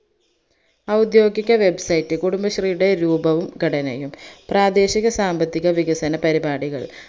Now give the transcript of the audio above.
ഔദ്യോഗിക website കുടുബശ്രീയുടെ രൂപവും ഘടനയും പ്രാദേശിക സാമ്പത്തിക വികസന പരിപാടികൾ